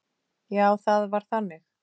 Já, það var þannig.